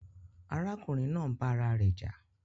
Àrakùnrin naa ń bà ara rè jà